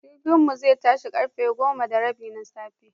Jirginmu zai tashi karfe goma da rabi na safe.